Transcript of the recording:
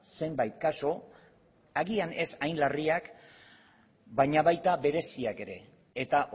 zenbait kasu agian ez hain larriak baina baita bereziak ere eta